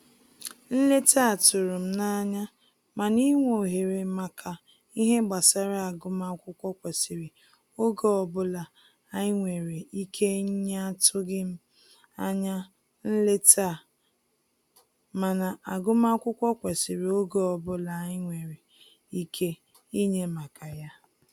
Nleta a tụrụ m n'anya, mana inwe ohere maka ihe gbasara agụmakwụkwọ kwesịrị oge ọbụla anyi nwere ike nyeAtụghim anya nleta a, mana agụmakwukwọ kwesiri oge ọbụla anyị nwere ike inye maka ya